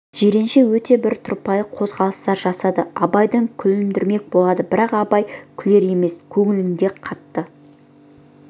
жиренше өте бір тұрпайы қозғалыстар жасады абайды күлдірмек болатын бірақ абай күлер емес көңілінде қатты